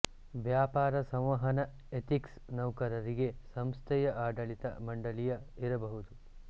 ವ್ಯಾಪಾರ ಸಂವಹನ ಎಥಿಕ್ಸ್ ನೌಕರರಿಗೆ ಸಂಸ್ಥೆಯ ಆಡಳಿತ ಮಂಡಳಿಯ ಇರಬಹುದು